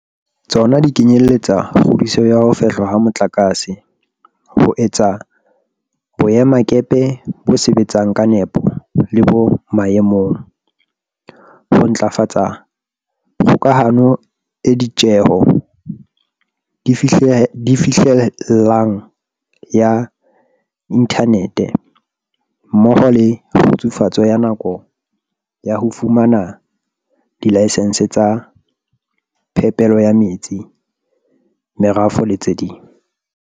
Tsona di kenyeletsa kgudiso ya ho fehlwa ha motlakase, ho etsa boe-makepe bo sebetsang ka nepo le bo maemong, ho ntlafatsa kgokahano e ditjeho di fihlellehang ya inthanethe, mmoho le kgutsufatso ya nako ya ho fumana dilayesense tsa phepelo ya metsi, merafo le tse ding.